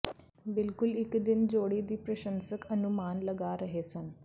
ਬਿਲਕੁਲ ਇਕ ਦਿਨ ਜੋੜੀ ਦੇ ਪ੍ਰਸ਼ੰਸਕ ਅਨੁਮਾਨ ਲਗਾ ਰਹੇ ਸਨ